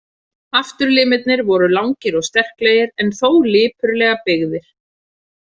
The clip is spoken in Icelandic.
Afturlimirnir voru langir og sterklegir, en þó lipurlega byggðir.